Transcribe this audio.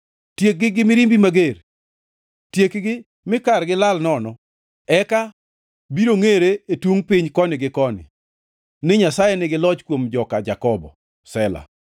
tiekgi gi mirimbi mager, tiekgi mi kargi lal nono, eka biro ngʼere e tungʼ piny koni gi koni ni Nyasaye nigi loch kuom joka Jakobo. Sela